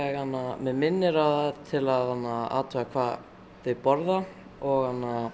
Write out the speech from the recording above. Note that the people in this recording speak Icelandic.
mig minnir til að athuga hvað þeir borða og